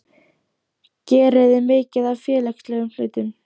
geriði mikið af félagslegum hlutum?